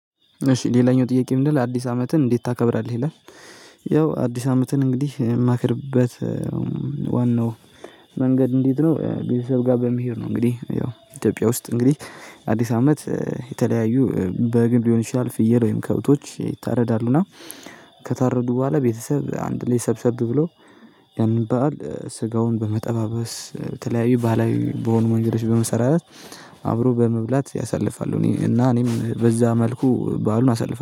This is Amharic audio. እሺ ሌላኛው ጥያቄ ምንድነው ለአዲስ አመትን እንዴት ታከብራለህ ይላል? ያው አዲስ አመትን እንግዲህ የማከብርበት ዋናው መንገድ እንዴት ነው ቤተሰብ ጋር በመሄድ ነው። እንግዲህ ያው ኢትዮጵያ ውስጥ እንግዲህ አዲስ አመት የተለያዩ በግም ሊሆን ይችላል ፍየል ወይም ከብቶች ይታረዳሉ እና ከታረዱ በኋላ ቤተሰብ አንድ ላይ ሰብሰብ ብሎ ያንን በዓል ስጋውን በመጠባበስ በተለያዩ ባህላዊ በሆኑ መንገዶች በመሰራራት አብሮ በመብላት ያሳልፋሉ። እኔ እና እኔም በዛ መልኩ በዓሉን አሳልፋለሁ